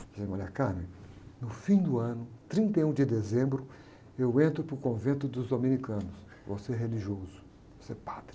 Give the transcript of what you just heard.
Eu disse, olha, no fim do ano, trinta e um de dezembro, eu entro para o convento dos dominicanos, vou ser religioso, vou ser padre.